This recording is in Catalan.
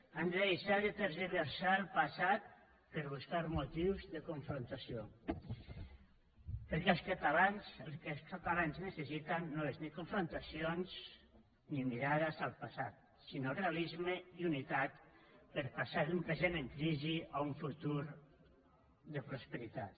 han de deixar de tergiversar el passat per buscar motius de confrontació perquè els catalans el que els catalans necessiten no és ni confrontacions ni mirades al passat sinó realisme i unitat per passar d’un present en crisi a un futur de prosperitat